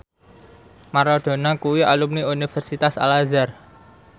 Maradona kuwi alumni Universitas Al Azhar